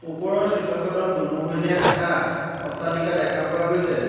ওপৰৰ চিত্ৰখনত দুমহলীয়া এটা অট্টালিকা দেখা পোৱা গৈছে।